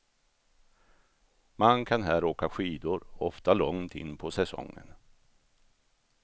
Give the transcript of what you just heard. Man kan här åka skidor, ofta långt in på säsongen.